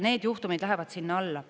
Need juhtumid lähevad sinna alla.